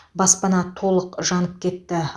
баспана толық жанып кетті